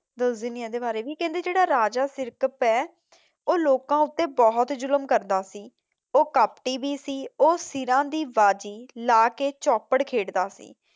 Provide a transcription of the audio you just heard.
ਦੱਸ ਦਿੰਦੀ ਹਾਂ ਇਹਦੇ ਵਾਰੇ ਵੀ ਕਹਿੰਦੇ ਜਿਹੜਾ ਰਾਜਾ ਸਿਰਕਪ ਹੈ ਉਹ ਲੋਕਾਂ ਉੱਤੇ ਬਹੁਤ ਜ਼ੁਲਮ ਕਰਦਾ ਸੀ। ਉਹ ਕਪਟੀ ਵੀ ਸੀ ਉਹ ਸਿਰਾ ਦੀ ਬਾਜ਼ੀ ਲਾ ਕੇ ਚੋਪੜ ਖੇਡਦਾ ਸੀ।